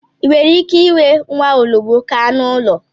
Ì nwere ike inwe nwaologbo ka anụ ụlọ?